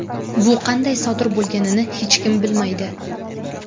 Bu qanday sodir bo‘lganini hech kim bilmaydi .